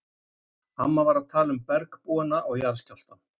Amma var að tala um bergbúana og jarðskjálftann!